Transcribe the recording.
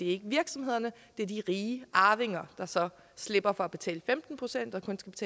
ikke virksomhederne det er de rige arvinger der så slipper for at betale femten procent